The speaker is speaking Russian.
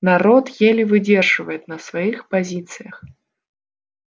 народ еле выдерживает на своих позициях